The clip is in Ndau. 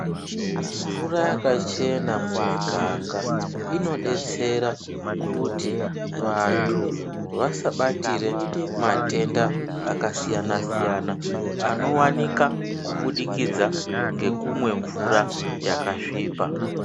Mvura yakachena mumiganga inobetsera kuti vantu vasabatire matenda akasiyana-siyana, anovanika kubudikidza ngekumwe mvura yakasvipa.